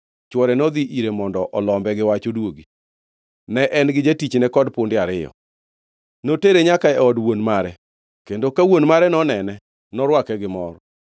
chwore nodhi ire mondo olombe gi wach oduogi. Ne en-gi jatichne kod punde ariyo. Notere nyaka e od wuon mare, kendo ka wuon mare nonene, norwake gi mor.